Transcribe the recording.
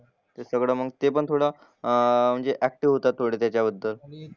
ते सगळं मग ते पण थोडं अं ते ऍक्टिव्ह होतात थोडे त्याच्याबद्दल. आणि